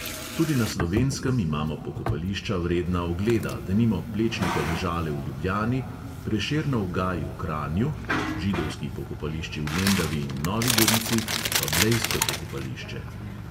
Tudi na slovenskem imamo pokopališča, vredna ogleda, denimo plečnikove žale v ljubljani, prešernov gaj v kranju, židovski pokopališči v lendavi in novi gorici, pa blejsko pokopališče.